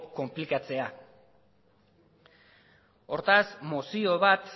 konplikatzea hortaz mozio bat